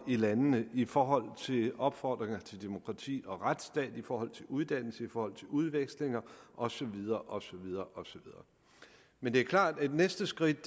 i landene i forhold til opfordringer til demokrati og en retsstat i forhold til uddannelse i forhold til udvekslinger og så videre og så videre men det er klart at næste skridt